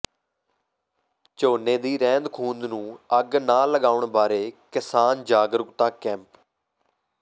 ਝੋਨੇ ਦੀ ਰਹਿੰਦ ਖੂਹੰਦ ਨੂੰ ਅੱਗ ਨਾ ਲਗਾਉਣ ਬਾਰੇ ਕਿਸਾਨ ਜਾਗਰੂਕਤਾ ਕੈਂਪ